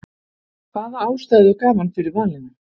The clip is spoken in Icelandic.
hvaða ástæðu gaf hann fyrir valinu?